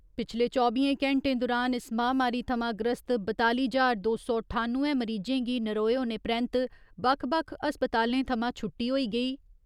पिछले चौबियें घैंटें दुरान इस महामारी थमां ग्रस्त बताली ज्हार दो सौ ठानुए मरीजें गी नरोए होने परैन्त बक्ख बक्ख अस्पतालें थमां छुट्टी होई गेई।